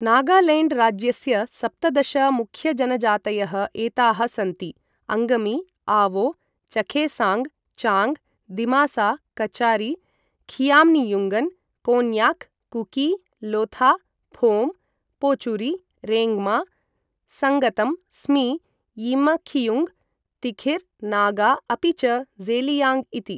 नागालैण्ड् राज्यस्य सप्तदश मुख्यजनजातयः एताः सन्ति अङ्गमी, आवो, चखेसाङ्ग्, चाङ्ग्, दिमासा कचारी, खियाम्नियुङ्गन्, कोन्याक्, कुकी, लोथा, फोम्, पोचुरी, रेङ्गमा, संगतम्, स्मी, यिमखियुङ्ग, तिखिर् नागा अपि च ज़ेलियाङ्ग इति।